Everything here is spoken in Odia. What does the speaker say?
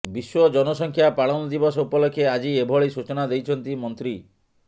ବିଶ୍ୱ ଜନସଂଖ୍ୟା ପାଳନ ଦିବସ ଉପଲକ୍ଷେ ଆଜି ଏଭଳି ସୂଚନା ଦେଇଛନ୍ତି ମନ୍ତ୍ରୀ